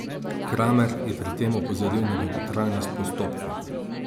Kramer je pri tem opozoril na dolgotrajnost postopkov.